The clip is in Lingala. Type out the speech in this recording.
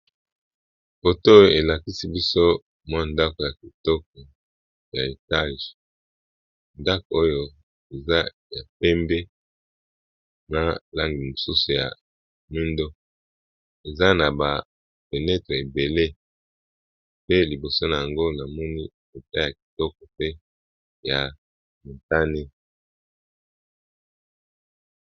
Foto elakisi biso mwa ndako ya kitoko ya etage ndako oyo eza ya pembe na langi mosusu ya moindo eza na ba fenetre ebele pe liboso na yango na moni ekuke ya kitoko pe ya motane.